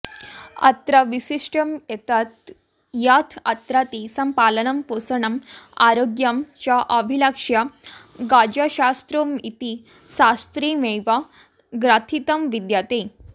अत्र वैशिष्ट्यमेतत् यत् अत्र तेषां पालनं पोषणम् आरोग्यं च अभिलक्ष्य गजशास्त्रमिति शास्त्रमेव ग्रथितं विद्यते